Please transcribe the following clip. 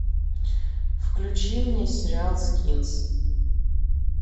включи мне сериал скинс